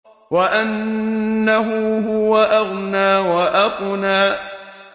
وَأَنَّهُ هُوَ أَغْنَىٰ وَأَقْنَىٰ